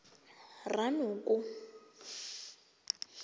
ranoko